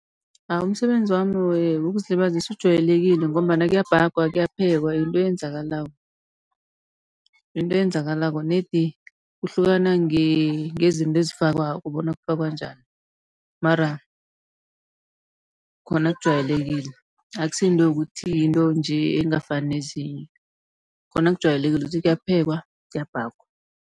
Ah umsebenzi wami wokuzilibazisa ujayelekile, ngombana kuyabhagwa kuyaphekwa yinto eyenzakalako. Yinto eyenzakalako, nedi kuhlukana ngezinto ezifakwako bona kufakwa njani mara khona kujayelekile, akusi yinto yokuthi yinto nje engafani nezinye. Khona kujayelekile ukuthi kuyaphekwa kuyabhagwa.